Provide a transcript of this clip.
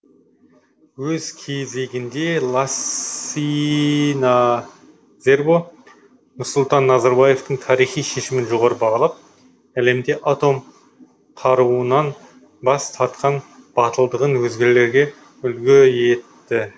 өз кезегінде лассина зербо нұрсұлтан назарбаевтың тарихи шешімін жоғары бағалап әлемде атом қаруынан бас тартқан батылдығын өзгелерге үлгі етті